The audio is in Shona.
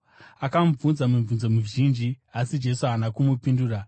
Akamubvunza mibvunzo mizhinji, asi Jesu haana kumupindura.